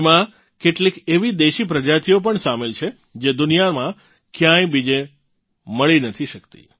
એમાં કેટલીક એવી દેશી પ્રજાતિઓ પણ સામેલ છે જે દુનિયામાં ક્યાંય બીજે મળી નથી શકતી